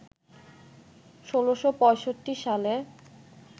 ১৬৬৫ সালে